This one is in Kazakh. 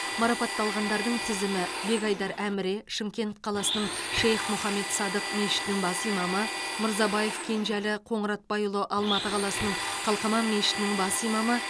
марапатталғандардың тізімі бекайдар әміре шымкент қаласының шейх мұхаммед садық мешітінің бас имамы мырзабаев кенжеәлі қоңыратбайұлы алматы қаласының қалқаман мешітінің бас имамы